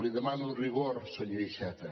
li demano rigor senyor iceta